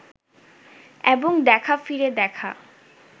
এবং দেখা ফিরে দেখা